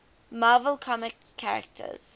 marvel comics characters